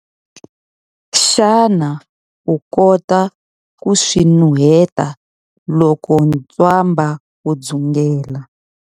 Xana u kota ku swi nuheta loko ntswamba wu dzungela?